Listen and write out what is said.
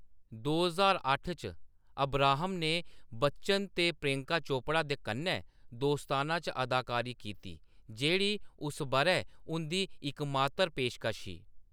दो ज्हार अट्ठ च, अब्राहम ने बच्चन ते प्रियंका चोपड़ा दे कन्नै दोस्ताना च अदाकारी कीती, जेह्‌‌ड़ी उस बʼरै उंʼदी इकमात्तर पेशकश ही।